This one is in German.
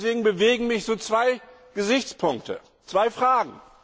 Deswegen bewegen mich zwei Gesichtspunkte, zwei Fragen.